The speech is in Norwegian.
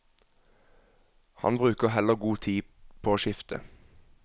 Han bruker heller god tid på å skifte.